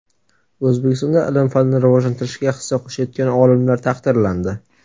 O‘zbekistonda ilm-fanni rivojlantirishga hissa qo‘shayotgan olimlar taqdirlandi.